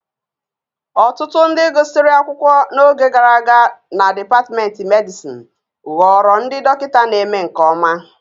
Ọtụtụ ndị gụsịrị akwụkwọ n'oge gara aga na dipatmentị medịsịn ghọrọ ndị dọkịta na-eme nke ọma